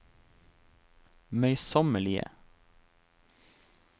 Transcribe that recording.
møysommelige